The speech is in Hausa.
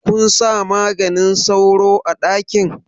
Kunsa maganin sauro a ɗakin?